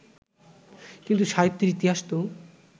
কিন্তু সাহিত্যের ইতিহাস তো